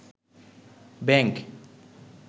bank